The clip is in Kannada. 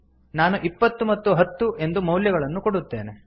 ನಾನು ಇಪ್ಪತ್ತು ಮತ್ತು ಹತ್ತು ಎಂದು ಮೌಲ್ಯಗಳನ್ನು ಕೊಡುತ್ತೇನೆ